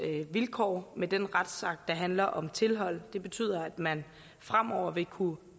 vilkår med den retsakt der handler om tilhold det betyder at man fremover vil kunne